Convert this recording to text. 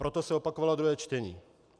Proto se opakovalo druhé čtení.